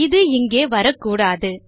இது இங்கே வரக்கூடாது